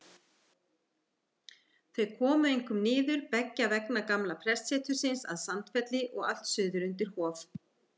Þau komu einkum niður beggja vegna gamla prestsetursins að Sandfelli og allt suður undir Hof.